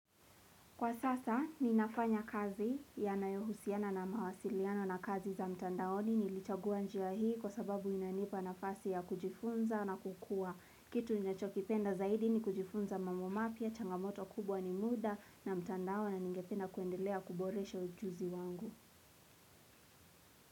Kwa sasa ninafanya kazi yanayohusiana na mawasiliano na kazi za mtandaoni. Nilichagua njia hii kwa sababu inanipa nafasi ya kujifunza na kukua. Kitu ninachokipenda zaidi ni kujifunza mambo mapya, changamoto kubwa ni muda na mtandao na ningependa kuendelea kuboresha ujuzi wangu.